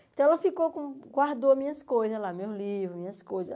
Então ela ficou com, guardou as minhas coisas lá, meus livros, minhas coisas.